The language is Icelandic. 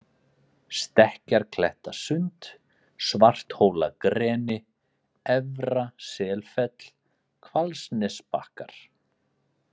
Stekkjarrklettasund, Svarthólagreni, Efra-Selfell, Hvalsnesbakkar